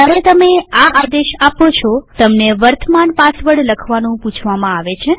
જયારે તમે આ આદેશ આપો છો તમને વર્તમાન પાસવર્ડ લખવાનું પૂછવામાં આવે છે